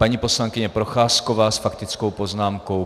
Paní poslankyně Procházková s faktickou poznámkou.